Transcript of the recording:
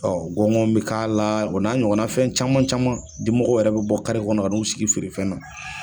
gɔngɔn be k'a la o n'a ɲɔgɔnna fɛn caman caman, dimɔgɔw yɛrɛ be bɔ kɔnɔ kan'u sigi feerefɛn na.